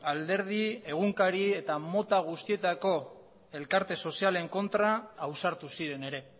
alderdi egunkari eta mota guztietako elkarte sozialen kontra ausartu ziren ere